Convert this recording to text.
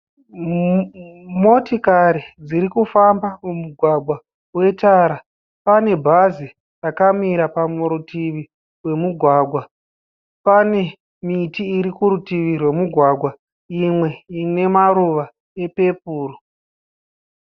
Motikari dziri kufamba mumugwagwa wetara pane bhazi rakamira parutivi rwemugwagwa, pane miti iri kurutivi rwemugwagwa imwe ine maruva epepuru.